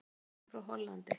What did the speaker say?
Hann kom frá Hollandi.